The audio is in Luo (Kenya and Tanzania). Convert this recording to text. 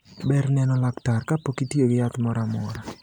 Ber neno laktar kapok itiyo gi yath moramora.